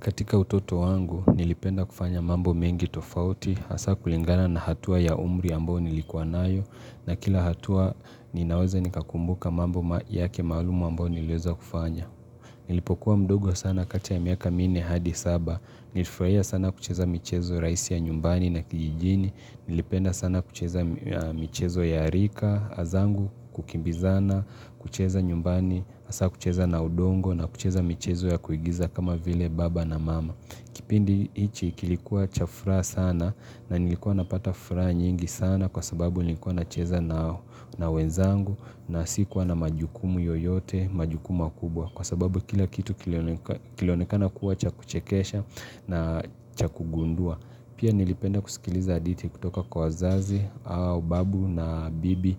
Katika utoto wangu nilipenda kufanya mambo mengi tofauti hasa kulingana na hatua ya umri ambao nilikuwa nayo na kila hatua ninaweza nikakumbuka mambo yake malumu ambao niliweza kufanya. Nilipokuwa mdogo sana kati ya miaka minne hadi saba, nilifurahia sana kucheza michezo raisi ya nyumbani na kijijini, nilipenda sana kucheza michezo ya rika, zangu kukimbizana, kucheza nyumbani, hasa kucheza na udongo na kucheza michezo ya kuigiza kama vile baba na mama. Kipindi hichi kilikuwa cha furaha sana na nilikuwa napata furaha nyingi sana kwa sababu nilikuwa nacheza na wenzangu na sikuwa na majukumu yoyote, majukumu makubwa kwa sababu kila kitu kilionekana kuwa cha kuchekesha na cha kugundua. Pia nilipenda kusikiliza hadithi kutoka kwa wazazi au babu na bibi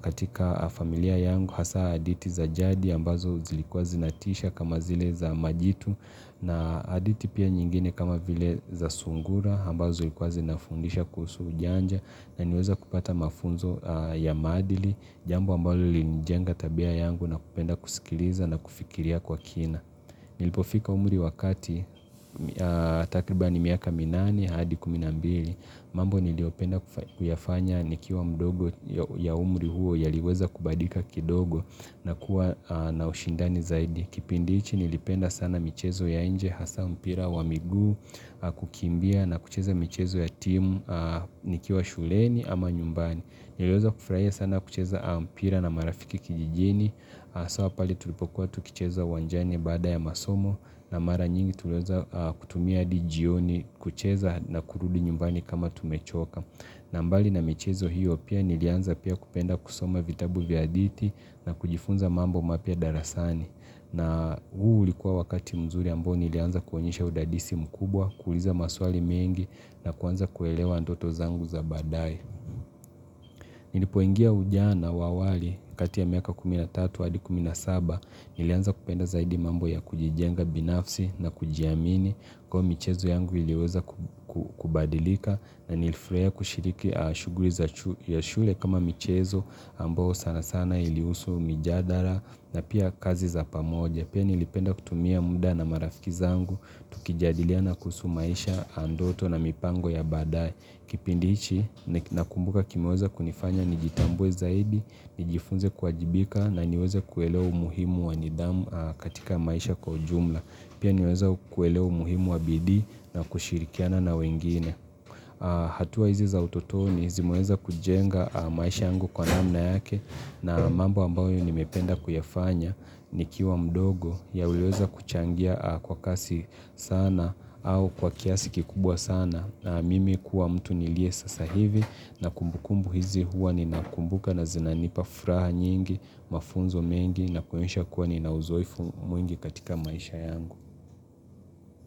katika familia yangu hasa hadithi za jadi ambazo zilikuwa zinatisha kama zile za majitu na hadithi pia nyingine kama vile za sungura ambazo zilikuwa zinafundisha kuhusu ujanja nanina weza kupata mafunzo ya maadili jambo ambalo lilinijenga tabia yangu nakupenda kusikiliza na kufikiria kwa kina. Nilipofika umri wakati takribani miaka minane hadi kumi na mbili mambo niliopenda kuyafanya nikiwa mdogo ya umri huo yaliweza kubadilika kidogo na kuwa na ushindani zaidi Kipindi hichi nilipenda sana michezo ya inje hasa mpira wa miguu kukimbia na kucheza michezo ya timu nikiwa shuleni ama nyumbani Niliweza kufurahia sana kucheza mpira na marafiki kijijini, haswa pale tulipokuwa tukicheza wanjani baada ya masomo na mara nyingi tuliweza kutumia hadi jioni kucheza na kurudi nyumbani kama tumechoka. Na mbali na michezo hiyo pia nilianza pia kupenda kusoma vitabu vya hadithi na kujifunza mambo mapya darasani. Na huu ulikuwa wakati mzuri ambao nilianza kuonyesha udadisi mkubwa, kuuliza maswali mengi na kuanza kuelewa ndoto zangu za baadae. Nilipoingia ujana wa awali kati ya miaka 13 hadi 17 nilianza kupenda zaidi mambo ya kujijenga binafsi na kujiamini kwao michezo yangu iliweza kubadilika na nilifurahia kushiriki shughuli ya shule kama michezo ambao sana sana ilihusu mijadala na pia kazi za pamoja. Pia nilipenda kutumia muda na marafiki zangu, tukijadiliana kuhusu maisha ndoto na mipango ya badae. Kipindi hichi nakumbuka kimeweza kunifanya nijitambue zaidi, nijifunze kuwajibika na niweze kueleza umuhimu wanidhamu katika maisha kwa ujumla. Pia niweze kuelewa umuhimu wabidii na kushirikiana na wengine. Hatua hizi za utotoni, zimeweza kujenga maisha yangu kwa namna yake na mambo ambayo nimependa kuyafanya. Nikiwa mdogo yaliweza kuchangia kwa kasi sana au kwa kiasi kikubwa sana na mimi kuwa mtu nilie sasa hivi na kumbukumbu hizi huwa ninakumbuka na zinanipa furaha nyingi mafunzo mengi na kuonyesha kuwa ni na uzoefu mwingi katika maisha yangu.